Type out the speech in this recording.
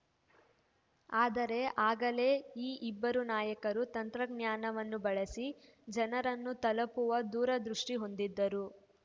ಆದರೆ ಆಗಲೇ ಈ ಇಬ್ಬರು ನಾಯಕರು ತಂತ್ರಜ್ಞಾನವನ್ನು ಬಳಸಿ ಜನರನ್ನು ತಲುಪುವ ದೂರದೃಷ್ಟಿಹೊಂದಿದ್ದರು